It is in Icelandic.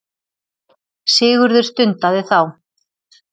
Sigurður stundaði þá.